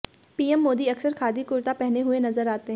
PM Modi अक्सर खादी कुर्ता पहने हुए नजर आते हैं